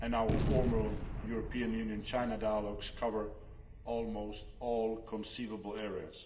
and our formal EU China dialogues cover almost all conceivable areas.